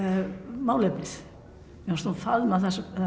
málefnið mér fannst hún faðma